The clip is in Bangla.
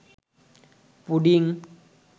পুডিং